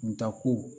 Tako